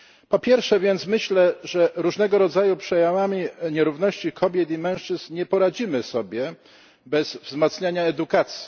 Po pierwsze myślę więc, że z różnego rodzaju przejawami nierówności kobiet i mężczyzn nie poradzimy sobie bez wzmacniania edukacji.